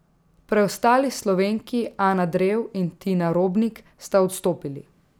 Preostali Slovenki Ana Drev in Tina Robnik sta odstopili.